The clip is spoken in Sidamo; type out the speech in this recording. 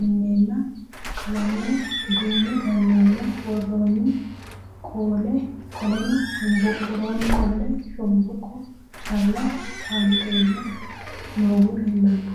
mineenna, qalamenno duumme ganeenna, woroonni qolle shonboqo calla xaanxeenna noohu leelanno.